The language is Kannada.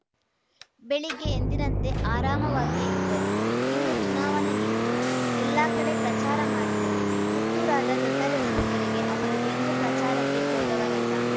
ಬೆಳಿಗ್ಗೆ ಎಂದಿನಂತೆ ಆರಾಮಾಗಿಯೇ ಇದ್ದರು ಇನ್ನು ಚುನಾವಣೆ ನಿಂತು ಎಲ್ಲಾ ಕಡೆ ಪ್ರಚಾರ ಮಾಡಿದರೂ ಹುಟ್ಟೂರಾದ ದೊಡ್ಡ ಅರಸಿನಕೆರೆಗೆ ಅವರು ಎಂದೂ ಪ್ರಚಾರಕ್ಕೆ ಹೋದವರಲ್ಲ